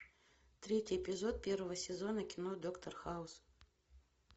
третий эпизод первого сезона кино доктор хаус